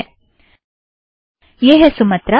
ठीक है - यह है सुमत्रा